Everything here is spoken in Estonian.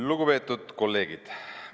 Lugupeetud kolleegid!